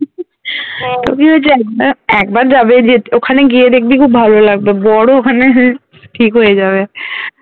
একবার যাবে যে ওখানে গিয়ে দেখবি খুব ভালো লাগবে বড় ও ওখানে ঠিক হয়ে যাবে